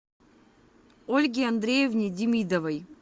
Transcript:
ольге андреевне демидовой